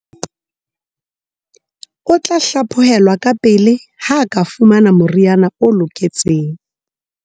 O tla hlaphohelwa kapele ha a ka fumana moriana o loketseng.